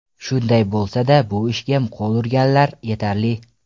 Shunday bo‘lsa-da, bu ishga qo‘l urganlar yetarli.